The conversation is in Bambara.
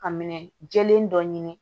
Ka minɛ jɛlen dɔ ɲini